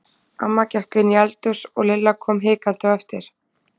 Amma gekk inn í eldhús og Lilla kom hikandi á eftir.